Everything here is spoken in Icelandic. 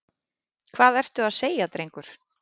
Hvað ertu að segja, drengur?